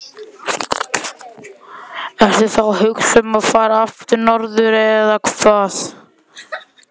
Ertu þá að hugsa um að fara aftur norður eða hvað?